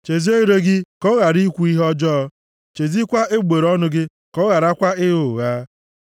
chezie ire gị ka ọ ghara ikwu ihe ọjọọ, chezikwaa egbugbere ọnụ gị ka ọ gharakwa ịgha ụgha.